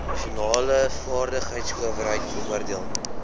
nasionale vaardigheidsowerheid beoordeel